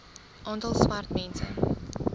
aantal swart mense